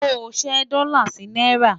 ló ṣé dòla sí náírà